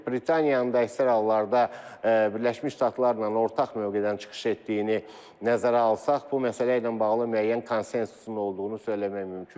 Britaniyanın da əksər hallarda Birləşmiş Ştatlarla ortaq mövqedən çıxış etdiyini nəzərə alsaq, bu məsələ ilə bağlı müəyyən konsensusun olduğunu söyləmək mümkündür.